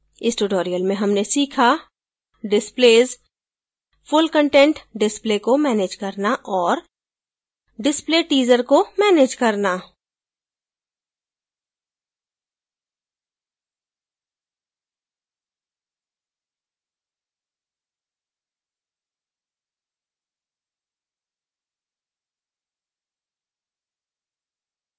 इस tutorial में हमने सीखा displays full content display को मैनेज करना और display teaser को मैनेज करना